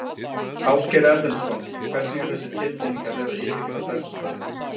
Ásgeir Erlendsson: Hvernig er þessi tilfinning að vera að yfirgefa Bessastaði?